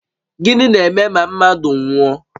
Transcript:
Gịnị na-eme ma mmadụ nwụọ?